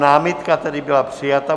Námitka tedy byla přijata.